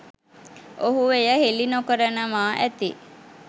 ඔහු එය හෙළි නොකරනවා ඇති.